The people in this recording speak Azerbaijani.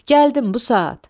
Gəldim bu saat.